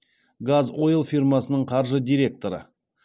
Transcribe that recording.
газойл фирмасының қаржы директоры